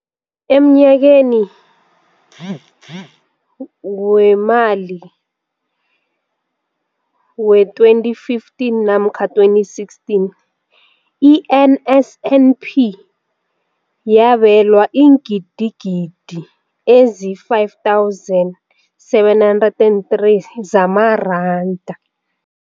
Emnyakeni weemali we-2015 namkha 2016, i-NSNP yabelwa iingidigidi ezi-5 703 zamaranda.